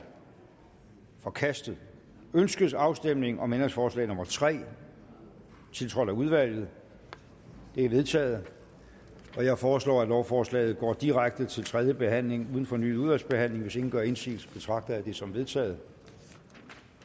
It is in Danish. forkastet ønskes afstemning om ændringsforslag nummer tre tiltrådt af udvalget det er vedtaget jeg foreslår at lovforslaget går direkte til tredje behandling uden fornyet udvalgsbehandling hvis ingen gør indsigelse betragter jeg det som vedtaget